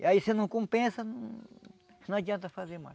E aí se não compensa, não adianta fazer mais.